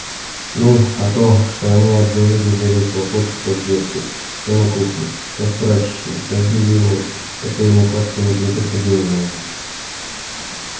ну а то что они от зари до зари хлопочут то в детской то на кухне то в прачечной то в бельевой это ему как-то не приходило на ум